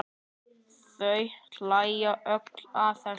Þau hlæja öll að þessu.